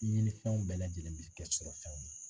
Ɲifɛnw bɛɛ lajɛlen bɛ kɛ sɔrɔfɛnw ye.